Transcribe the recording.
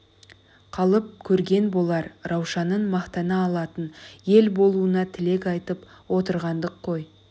қалып көрген болар раушанын мақтана алатын ел болуына тілек айтып отырғандық қой